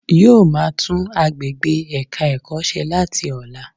Yóò máa tún agbègbè ẹ̀ka ẹ̀kọ́ se láti ọ̀la